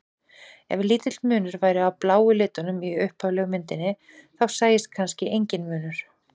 Ef lítill munur væri á bláu litunum í upphaflegu myndinni þá sæist kannski enginn munur.